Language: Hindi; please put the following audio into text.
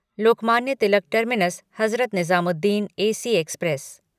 Lokmanya Tilak terminus Hazrat Nizamuddin AC express